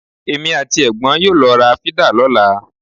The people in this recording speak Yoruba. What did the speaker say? Èmi àti ẹ̀gbọ́n yóò lọ ra fídà lọ́la.